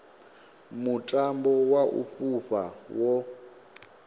mutambo wa u fhufha wo